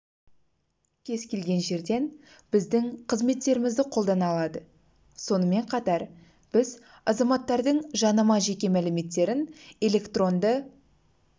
кез келген жерден біздің қызметтерімізді қолдана алады сонымен қатар біз азаматтардың жанама жеке мәліметтерін электронды